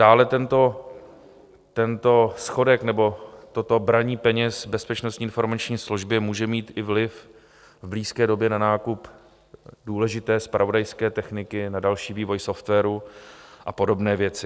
Dále tento schodek nebo toto braní peněz Bezpečnostní informační službě může mít i vliv v blízké době na nákup důležité zpravodajské techniky, na další vývoj softwaru a podobné věci.